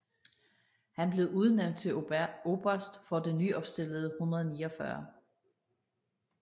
Han blev udnævnt til oberst for det nyopstillede 149